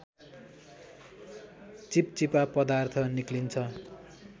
चिपचिपा पदार्थ निक्लिन्छ